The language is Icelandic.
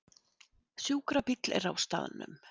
Sjúkrabíll er á staðnum